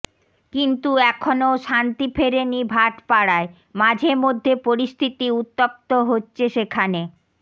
কিন্তু এখনও শান্তি ফেরেনি ভাটপাড়ায় মাঝেমধ্যে পরিস্থিতি উত্তপ্ত হচ্ছে সেখানে